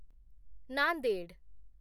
Nanded